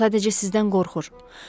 O sadəcə sizdən qorxur.